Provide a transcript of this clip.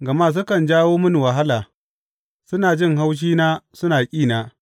Gama sukan jawo mini wahala, suna jin haushina suna ƙina.